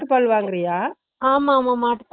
பால் மாட்டு வாங்குறிய ஆமா